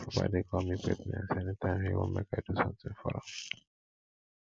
my papa dey call me pet names anytime he wan make i do something for am